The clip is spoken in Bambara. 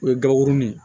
O ye gaurunin